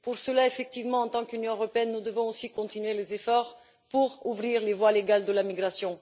Pour cela, effectivement, en tant qu'Union européenne, nous devons aussi continuer les efforts pour ouvrir des voies légales pour la migration.